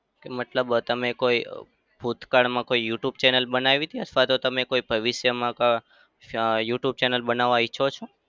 મતલબ તમે કોઈ અમ ભૂતકાળમાં કોઈ youtube channel બનાવી છે અથવા તો તમે ભવિષ્યમાં અમ અમ youtube channel બનાવા ઈચ્છો છો?